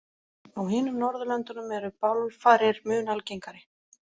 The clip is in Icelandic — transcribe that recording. Á hinum Norðurlöndunum eru bálfarir mun algengari.